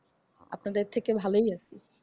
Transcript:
আপনাদের থেকে ভালই আছি।